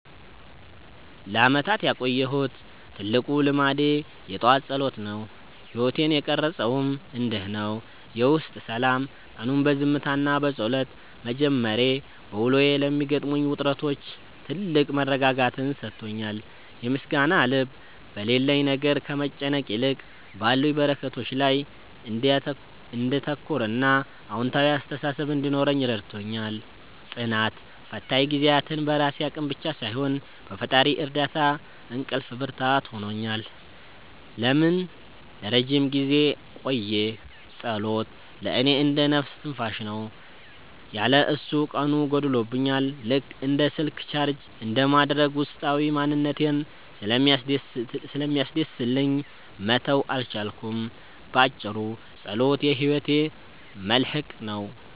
ለዓመታት ያቆየሁት ትልቁ ልማዴ የጠዋት ጸሎት ነው። ሕይወቴን የቀረፀውም እንዲህ ነው፦ የውስጥ ሰላም፦ ቀኑን በዝምታና በጸሎት መጀመሬ፣ በውሎዬ ለሚገጥሙኝ ውጥረቶች ትልቅ መረጋጋትን ሰጥቶኛል። የምስጋና ልብ፦ በሌለኝ ነገር ከመጨነቅ ይልቅ ባሉኝ በረከቶች ላይ እንዳተኩርና አዎንታዊ አስተሳሰብ እንዲኖረኝ ረድቶኛል። ጽናት፦ ፈታኝ ጊዜያትን በራሴ አቅም ብቻ ሳይሆን በፈጣሪ እርዳታ እንዳልፍ ብርታት ሆኖኛል። ለምን ለረጅም ጊዜ ቆየ? ጸሎት ለእኔ እንደ "ነፍስ ትንፋሽ" ነው። ያለ እሱ ቀኑ ጎድሎብኛል፤ ልክ እንደ ስልክ ቻርጅ እንደማድረግ ውስጣዊ ማንነቴን ስለሚያድስልኝ መተው አልቻልኩም። ባጭሩ፣ ጸሎት የሕይወቴ መልሕቅ ነው።